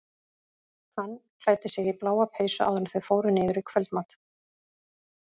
Hann klæddi sig í bláa peysu áður en þau fóru niður í kvöldmat.